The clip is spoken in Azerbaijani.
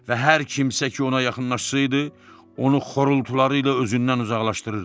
Və hər kimsə ki ona yaxınlaşsaydı, onu xorultuları ilə özündən uzaqlaşdırırdı.